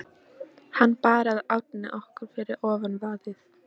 Hann bar að ánni nokkru fyrir ofan vaðið.